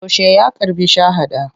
Yaushe ya karɓi shahada.